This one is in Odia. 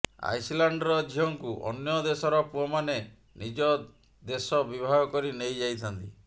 ଆଇସଲ୍ୟାଣ୍ଡର ଝିଅଙ୍କୁ ଅନ୍ୟ ଦେଶର ପୁଅମାନେ ନିଜ ଦେଶ ବିବାହ କରି ନେଇଯାଇଥାନ୍ତି